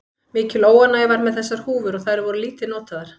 Mikil óánægja var með þessar húfur og þær voru lítið notaðar.